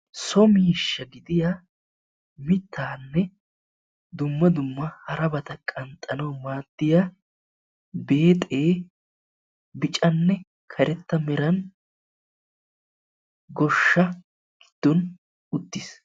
So miishsha gidiya miittape dumma dumma harabata qanxxanawu madiya beexe biccane karetta meeran goshshaa gidon uttis.